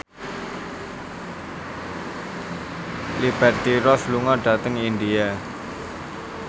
Liberty Ross lunga dhateng India